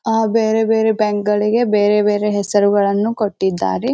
ಆ ಬೇರೆ ಬೇರೆ ಬ್ಯಾಂಕ್ ಗಳಿಗೆ ಬೇರೆ ಬೇರೆ ಹೆಸರುಗಳನ್ನೂ ಕೊಟ್ಟಿದ್ದಾರೆ.